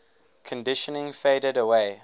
conditioning faded away